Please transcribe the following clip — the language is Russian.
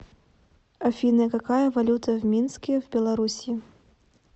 афина какая валюта в минске в белоруссии